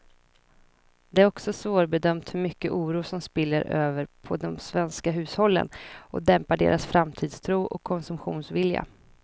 Det är också svårbedömt hur mycket oro som spiller över på de svenska hushållen och dämpar deras framtidstro och konsumtionsvilja.